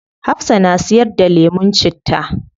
Hafsah na siyar da lemun citta